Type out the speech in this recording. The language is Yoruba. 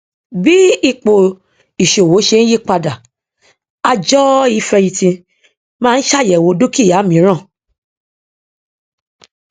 bí ó tilẹ ṣeé ṣe láti kó ọrọ jọ láìlo owó ó dín agbára owó rẹ kù